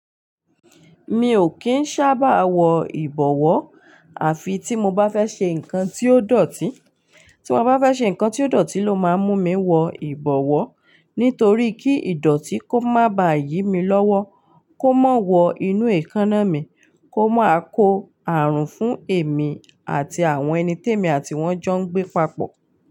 Mi ò kí ń ṣábà wọ ìbọ̀wọ́, àfi tí mo bá fẹ́ ṣe nǹkan tí ó dọ̀tí, tí mo bá fẹ́ ṣe nǹkan tí ó dọ̀tí ló máa ń mú mi wọ ìbọ̀wọ́. Nítorí kí ìdọ̀tí kó má ba yí mi lọ́wọ́, kó máa wọ inú èékánná mi, kó máa kó àrùn fún èmi àti àwọn ẹni tí èmi àti wọ́n jọ ń gbé papọ̀